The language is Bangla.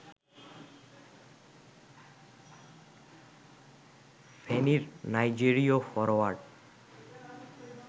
ফেনীর নাইজেরীয় ফরোয়ার্ড